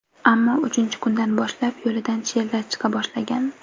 Ammo uchinchi kundan boshlab, yo‘lida sherlar chiqa boshlagan.